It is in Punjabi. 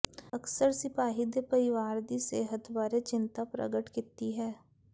ਅਕਸਰ ਸਿਪਾਹੀ ਦੇ ਪਰਿਵਾਰ ਦੀ ਸਿਹਤ ਬਾਰੇ ਚਿੰਤਾ ਪ੍ਰਗਟ ਕੀਤੀ ਹੈ